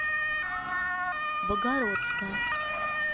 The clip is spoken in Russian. богородска